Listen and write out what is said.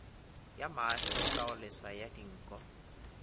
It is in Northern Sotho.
ya maahlo kagoleswa ya dinko